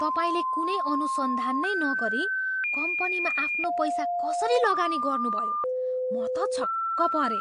तपाईँले कुनै अनुसन्धान नै नगरी कम्पनीमा आफ्नो पैसा कसरी लगानी गर्नुभयो? म त छक्क परेँ।